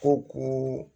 Ko